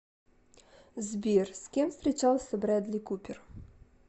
сбер с кем встречался брэдли купер